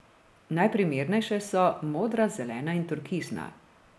Najprimernejše so modra, zelena in turkizna.